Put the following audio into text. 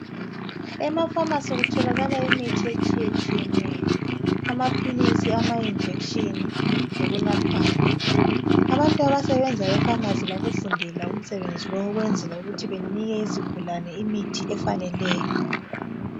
Emafamasi kutholakala imithi etshiyetshiyeneyo, amaphilisi, amajekiseni lokunathwayo. Abantu abasebenza efamasi bawufundela umsebenzi lowu ukwenzela ukuthi banike izigulane imithi efaneleyo